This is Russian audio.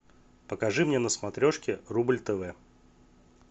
покажи мне на смотрешке рубль тв